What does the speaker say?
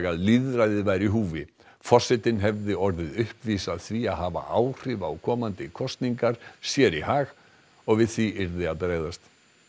að lýðræðið væri í húfi forsetinn hefði orðið uppvís að því að hafa áhrif á komandi kosningarnar sér í hag og við því yrði að bregðast